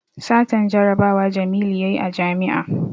Satan jarabawa jamilu yayi a jami'a